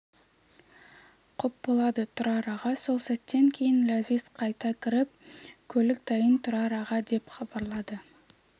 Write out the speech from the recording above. құп болады тұрар аға сол сәттен кейін ләзиз қайта кіріп көлік дайын тұрар аға деп хабарлады